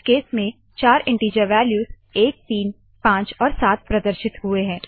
इस केस में चार इनटीजर वालयूज़ 135 और 7 प्रदर्शित हुए है